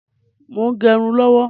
Mo ń gẹrun lọ́wọ́.